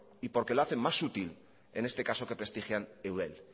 y porque lo hacen más útil en este caso que prestigian eudel